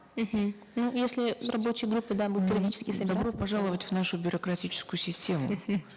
мхм ну если с рабочей группой да будут периодически собираться добро пожаловать в нашу бюрократическую систему